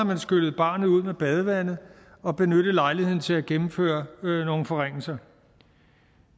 skyllet barnet ud med badevandet og benyttet lejligheden til at gennemføre nogle forringelser